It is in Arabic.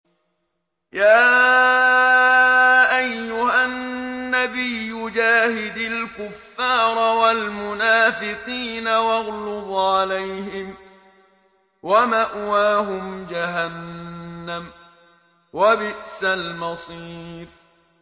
يَا أَيُّهَا النَّبِيُّ جَاهِدِ الْكُفَّارَ وَالْمُنَافِقِينَ وَاغْلُظْ عَلَيْهِمْ ۚ وَمَأْوَاهُمْ جَهَنَّمُ ۖ وَبِئْسَ الْمَصِيرُ